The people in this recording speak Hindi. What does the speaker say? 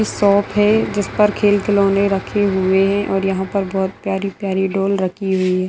शॉप है जिसपर खेल खिलोने रखे हुए हैं और यहाँ पर बहुत प्यारी प्यारी डॉल रखी हुई है।